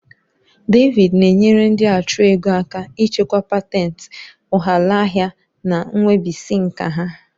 David na-enyere ndị achụ ego aka ichekwa patentì, ụghalaahịa, na nwebisiinka ha.